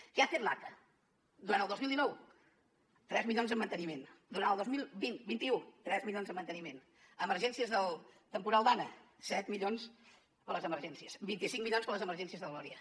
qué hace el aca durant el dos mil dinou tres milions en manteniment durant el dos mil vint vint un tres milions en manteniment emergències del temporal dana set milions per a les emergències vint cinc milions per a les emergències del gloria